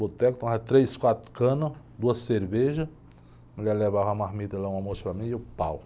Boteco, tomava três, quatro canas, duas cervejas, a mulher levava a marmita lá, um almoço para mim e eu pau.